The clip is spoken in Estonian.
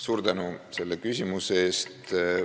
Suur tänu selle küsimuse eest!